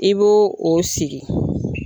I bo o sigi.